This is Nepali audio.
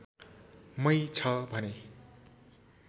मै छ भने